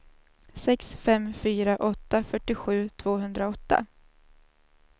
sex fem fyra åtta fyrtiosju tvåhundraåtta